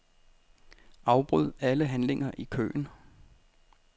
Afbryd alle handlinger i køen.